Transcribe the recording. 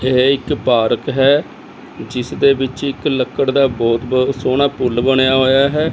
ਇਹ ਇੱਕ ਪਾਰਕ ਹੈ ਜਿਸ ਦੇ ਵਿੱਚ ਇੱਕ ਲੱਕੜ ਦਾ ਬਹੁਤ ਸੋਹਣਾ ਪੁੱਲ ਬਣਿਆ ਹੋਇਆ ਹੈ।